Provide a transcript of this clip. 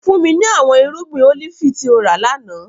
Fun mi ni awọn irugbin olifi ti o ra lana!